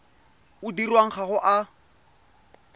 o dirwang ga o a